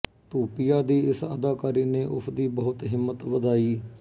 ਧੂਪੀਆ ਦੀ ਇਸ ਅਦਾਕਾਰੀ ਨੇ ਉਸ ਦੀ ਬਹੁਤ ਹਿੰਮਤ ਵਧਾਈ